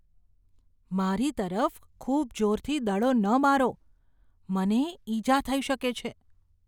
મારી તરફ ખૂબ જોરથી દડો ન મારો. મને ઈજા થઈ શકે છે.